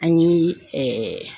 An ye